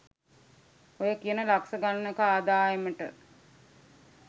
ඔය කියන ලක්ෂ ගණනක ආදායමට